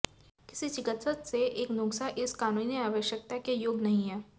किसी चिकित्सक से एक नुस्खा इस कानूनी आवश्यकता के योग्य नहीं है